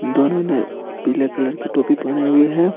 दोनों ने पीले कलर की टोपी पहने हुए हैं।